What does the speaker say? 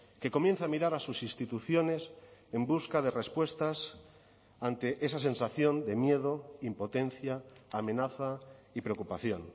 que comienza a mirar a sus instituciones en busca de respuestas ante esa sensación de miedo impotencia amenaza y preocupación